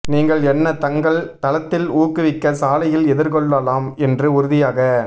நீங்கள் என்ன தங்கள் தளத்தில் ஊக்குவிக்க சாலையில் எதிர்கொள்ளலாம் என்று உறுதியாக